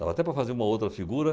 Dava até para fazer uma ou outra figura.